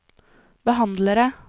behandlere